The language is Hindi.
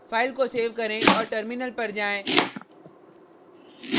file को सेव करें और terminal पर जाएँ